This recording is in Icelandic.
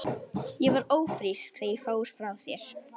Ég var ófrísk þegar ég fór frá þér.